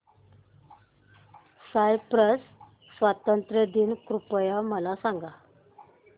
Cyprus स्वातंत्र्य दिन कृपया मला सांगा